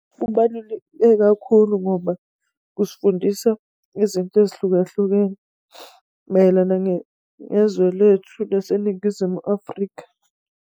Kubaluleke kakhulu ngoba kusifundisa izinto ezihlukahlukene mayelana nezwe lethu laseNingizimu Afrika.